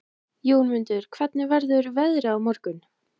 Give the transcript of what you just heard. Jómundur, hvernig verður veðrið á morgun?